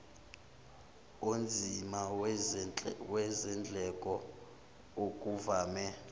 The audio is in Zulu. onzima wezindleko okuvame